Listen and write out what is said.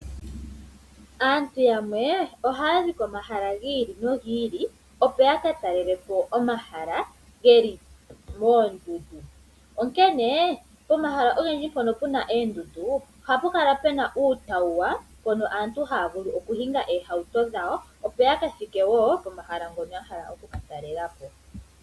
Aantu yamwe ohaya zi komahala gi ili nogi ili opo ya katalelepo omahala geli moondundu. Onkene pomahala ogendji mpono puna eendundu ohapu kala pena uutawuwa mbono aantu haya vulu okuninga eehauto dhawo opo ya kathike woo komahala ngoka ya hala oku talela po.